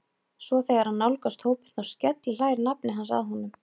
Svo þegar hann nálgast hópinn, þá skellihlær nafni hans að honum.